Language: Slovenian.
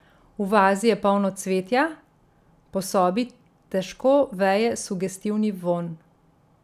V vazi je polno cvetja, po sobi težko veje sugestivni vonj.